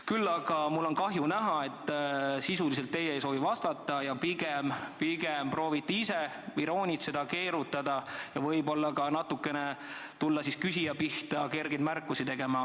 Küll aga on mul kahju näha, et te sisuliselt ei soovi vastata ning pigem proovite ise iroonitseda, keerutada ja võib-olla ka natuke küsija pihta kergeid märkusi teha.